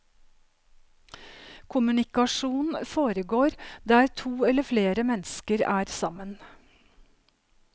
Kommunikasjon foregår der to eller flere mennesker er sammen.